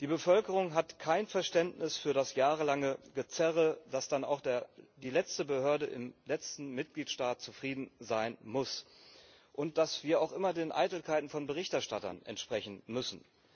Die Bevölkerung hat kein Verständnis für das jahrelange Gezerre, dass dann auch die letzte Behörde im letzten Mitgliedstaat zufrieden sein muss und dass wir auch immer den Eitelkeiten von Berichterstattern entsprechen müssen.